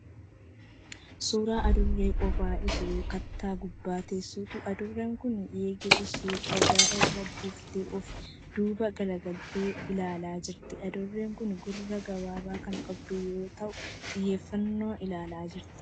Suuraa Adurree qophaa ishee kattaa gubbaa teessuuti. Adurreen kun eegee ishee dhagaa irra buuftee ofi duuba galagaltee ilaalaa jirti. Adurreen kun gurra gabaabaa kan qabdu yoo ta'u xiyyeeffannoon ilaalaa jirti.